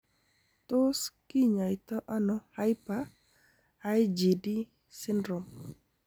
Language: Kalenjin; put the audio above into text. Tos kinyaita ono hyper IgD syndrome?